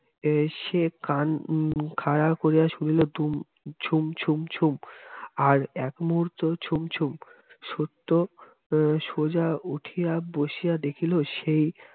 এসে কান উহ খাড়া করিয়া শুনিল ঝুম্ ঝুম্ ঝুম্ আর একমুহূর্ত ঝুমঝুম্ সত্য সোজা উঠিয়া বসিয়া দেখিল সেই